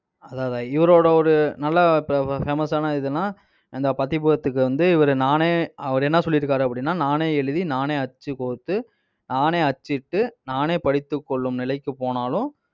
அது அதுதான் இவரோட ஒரு நல்ல இப்ப fa~ famous ஆன இதுன்னா, இந்த பதிப்பகத்துக்கு வந்து இவரு நானே அவர் என்ன சொல்லியிருக்காரு அப்படின்னா, நானே எழுதி நானே அச்சு கோர்த்து நானே அச்சிட்டு நானே படித்துக் கொள்ளும் நிலைக்கு போனாலும்